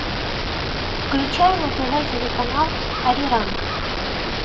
включай на тв телеканал ариранг